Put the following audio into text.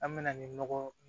An mɛna ni nɔgɔ